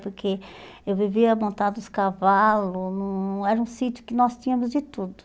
Porque eu vivia montando os cavalos, hum era um sítio que nós tínhamos de tudo.